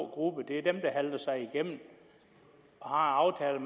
gruppe det er dem der halter sig igennem og har aftaler